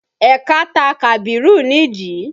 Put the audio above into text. Ẹ̀ka ta Kabiru nídìí